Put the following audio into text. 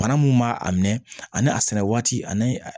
Bana mun b'a a minɛ ani a sɛnɛ waati ani